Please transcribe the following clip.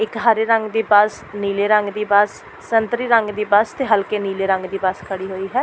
ਇੱਕ ਹਰੇ ਰੰਗ ਦੀ ਬਸ ਨੀਲੇ ਰੰਗ ਦੀ ਬਸ ਸੰਤਰੀ ਰੰਗ ਦੀ ਬਸ ਤੇ ਹਲਕੇ ਨੀਲੇ ਰੰਗ ਦੀ ਬਸ ਖੜੀ ਹੋਈ ਹੈ।